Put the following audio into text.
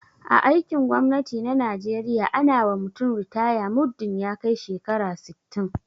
a aikin gwamnati na najeriya ana wa mutum ritaya muddin ya kai shekara sittin